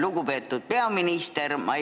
Lugupeetud peaminister!